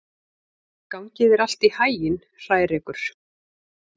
Gangi þér allt í haginn, Hrærekur.